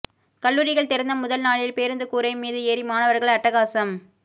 கல்லூரிகள் திறந்த முதல் நாளில் பேருந்து கூரை மீது ஏறி மாணவர்கள் அட்டகாசம்